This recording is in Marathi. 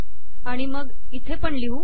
आणि मग हे इथे पण लिहू